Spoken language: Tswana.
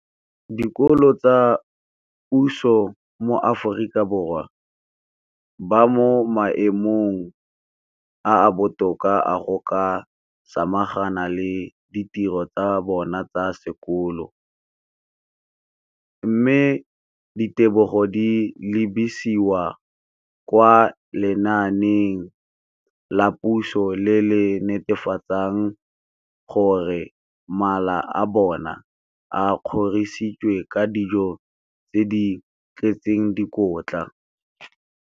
Dikolo tsa puso mo Aforika Borwa ba mo maemong a a botoka a go ka samagana le ditiro tsa bona tsa sekolo, mme ditebogo di lebisiwa kwa lenaaneng la puso le le netefatsang gore mala a bona a kgorisitswe ka dijo tse di tletseng dikotla.